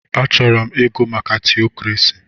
Achọrọ ịgụ maka tiokrasi.